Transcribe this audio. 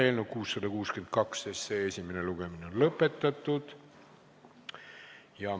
Eelnõu 662 esimene lugemine on lõpetatud.